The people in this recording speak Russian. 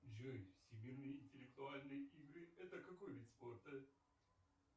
джой всемирные интеллектуальные игры это какой вид спорта